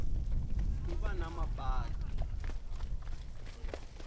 ku va na mapatu